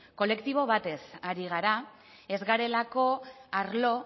kolektibo batez ari gara ez garelako arlo